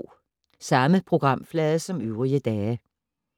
Samme programflade som øvrige dage